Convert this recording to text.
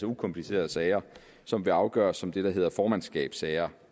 ukomplicerede sager som kan afgøres som det der hedder formandsskabssager